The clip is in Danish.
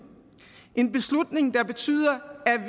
en beslutning der betyder